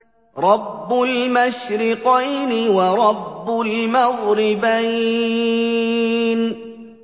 رَبُّ الْمَشْرِقَيْنِ وَرَبُّ الْمَغْرِبَيْنِ